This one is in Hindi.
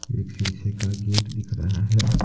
एक शीशे का गेट दिख रहा है।